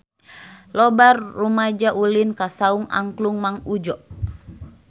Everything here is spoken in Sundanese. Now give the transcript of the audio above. Loba rumaja ulin ka Saung Angklung Mang Udjo